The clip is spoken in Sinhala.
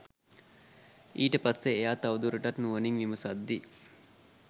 ඊට පස්සේ එයා තවදුරටත් නුවණින් විමසද්දි